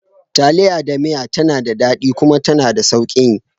Taliya da miya tana daɗi kuma tana da sauƙin yi.